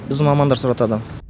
біздің мамандар сұратады